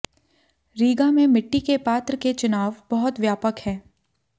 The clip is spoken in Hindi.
रीगा में मिट्टी के पात्र के चुनाव बहुत व्यापक है